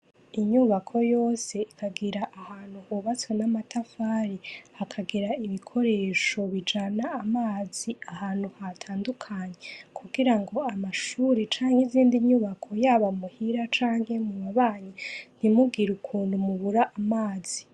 Inyubako yose iragira ahantu hubatswe n’amatafari , hakagira ibikoresho bijana amazi ahantu hatandukanye kugirango amashure cank’izindi nyubako yaba muhira canke mubabanyi ntimugir’ukuntu mubur’amazi.